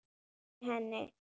Amma fylgdi henni.